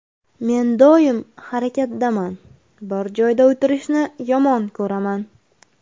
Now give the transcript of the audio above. Men doim harakatdaman, bir joyda o‘tirishni yomon ko‘raman.